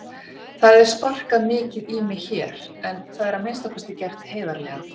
Það er sparkað mikið í mig hér en það er að minnsta kosti gert heiðarlega.